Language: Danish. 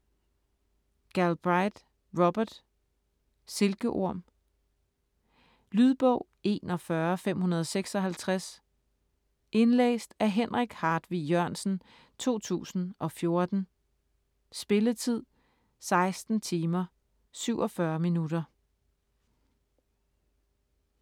Galbraith, Robert: Silkeorm Lydbog 41556 Indlæst af Henrik Hartvig Jørgensen, 2014. Spilletid: 16 timer, 47 minutter.